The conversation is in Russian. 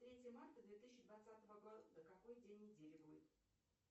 третье марта две тысячи двадцатого года какой день недели будет